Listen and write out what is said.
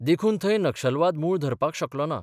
देखून थंय नक्षलवाद मूळ धरपाक शकलो ना.